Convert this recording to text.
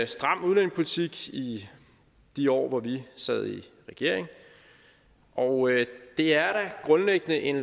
stram udlændingepolitik i de år hvor vi sad i regering og det er da grundlæggende en